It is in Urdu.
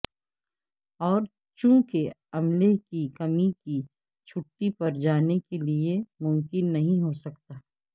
اور چونکہ عملے کی کمی کی چھٹی پر جانے کے لئے ممکن نہیں ہو سکتا